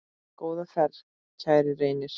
Góða ferð, kæri Reynir.